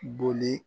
Boli